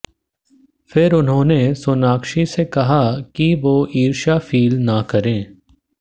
फिर उन्होंने सोनाक्षी से कहा कि वो ईर्ष्या फील ना करें